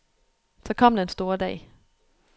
Så kom den store dag.